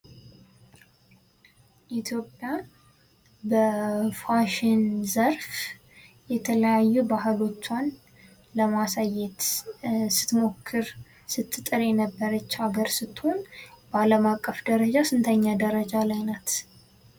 ኢትዮጵያ በፋሽን ዘርፍ የተለያዩ ባህሎቿን ለማሳዬት ስትሞክር ስትጥር የነበረች ሀገር ስትሆን በአለም አቀፍ ደረጃ ስንተኛ ደረጃ ላይ ናት?